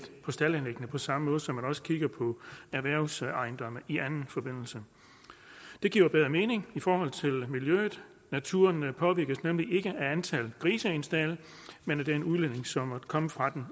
på staldanlæggene på samme måde som man også kigger på erhvervsejendomme i anden forbindelse det giver bedre mening i forhold til miljøet naturen påvirkes nemlig ikke af antallet af grise i en stald men af den udledning som måtte komme fra dem